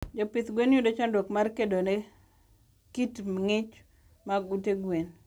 Jopidh gwen yudo chandruok mar kedone kit ngich mg ute gwen